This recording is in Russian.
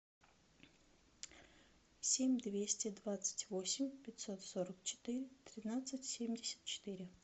семь двести двадцать восемь пятьсот сорок четыре тринадцать семьдесят четыре